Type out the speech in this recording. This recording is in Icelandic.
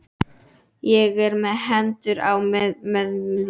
Ég er með hendurnar á mjöðmunum.